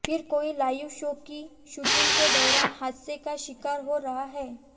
फिर कोई live show की शूटिंग के दौरान हादसे का शिकार हो रहा है